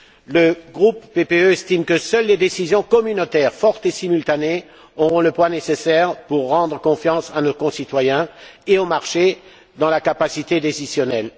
Le groupe PPE estime que seules des décisions communautaires fortes et simultanées auront le poids nécessaire pour rendre confiance à nos concitoyens et aux marchés dans la capacité décisionnelle.